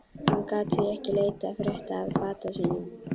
Hann gat því ekki leitað frétta af bata sínum.